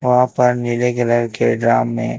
वहां पर नीले कलर के ड्रम में--